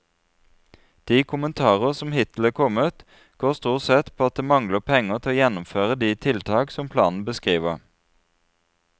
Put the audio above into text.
De kommentarer som hittil er kommet, går stort sett på at det mangler penger til å gjennomføre de tiltak som planen beskriver.